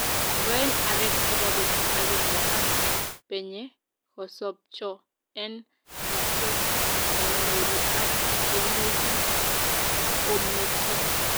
Ngoen areek chebo betut agenge ak peng'e kosopcho en nyasut nenyoru ak imuchi kometo